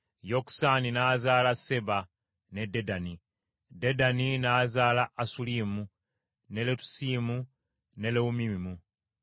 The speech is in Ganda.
Yokusaani n’azaala Seeba ne Dedani. Dedani n’azaala Asulimu, ne Letusimu ne Leumimu.